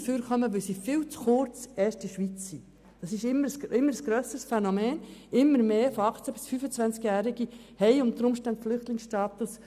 Immer mehr Flüchtlinge zwischen 18 und 25 Jahren haben unter Umständen den Flüchtlingsstatus.